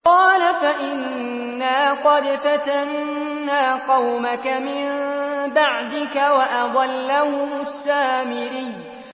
قَالَ فَإِنَّا قَدْ فَتَنَّا قَوْمَكَ مِن بَعْدِكَ وَأَضَلَّهُمُ السَّامِرِيُّ